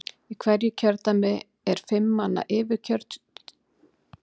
Í hverju kjördæmi er fimm manna yfirkjörstjórn sem kosin er af Alþingi.